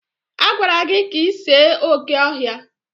Agwara gị ka ị see oké ọhịa!